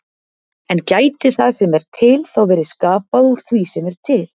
En gæti það sem er til þá verið skapað úr því sem er til?